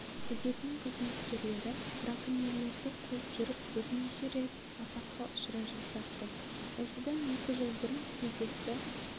күзетінің қызметкерлері браконьерлерді қуып жүріп бірнеше рет апатқа ұшырай жаздапты осыдан екі жыл бұрын кезекті